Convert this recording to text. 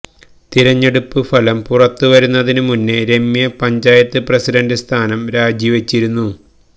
തെരഞ്ഞെടുപ്പ് ഫലം പുറത്ത് വരുന്നതിന് മുന്നേ രമ്യ പഞ്ചായത്ത് പ്രസിഡന്റ് സ്ഥാനം രാജി വെച്ചിരുന്നു